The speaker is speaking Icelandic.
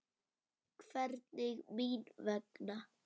Hvernig mín vegna?